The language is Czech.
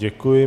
Děkuji.